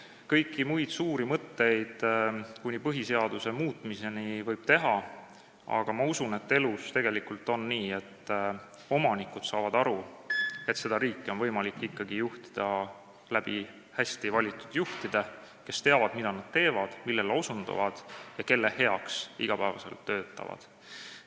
Kõiki muid suuri mõtteid kuni põhiseaduse muutmiseni võib ellu viia, aga ma usun, et elus tegelikult on nii, et omanikud saavad aru, et seda riiki on võimalik ikkagi juhtida hästi valitud juhtidega, kes teavad, mida nad teevad ja kelle heaks nad iga päev töötavad.